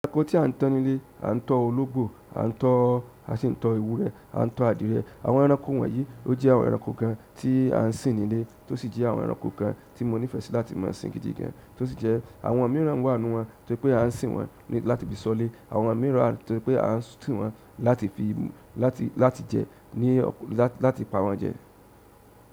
Ẹranko tí a ń tọ́ nílé, a ń tọ́ ológbò, a ń tọ́, a sì ń tọ́ ewúrẹ́, a ń tọ́ adìyẹ. Àwọn ẹranko wọ̀nyii ó jẹ́ àwọn ẹranko kan tí à ń sin nílẹ̀ tó sì jẹ́ àwọn ẹranko kan tí mo nífẹ̀ẹ́ sí láti máa sin gidi gan, tó sì jẹ́ àwọn mìíràn wá nínú wọn tó se pé a ń sin wọ́n láti fi s'ọ́lé, àwọn mìíràn tó se pé a ń sin wọ́n láti fi, láti, láti jẹ ní ọ̀kú, láti pa wọ́n jẹ.